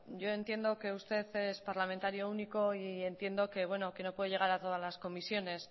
yo entiendo que usted es parlamentario único y entiendo que no puede llegar a todas las comisiones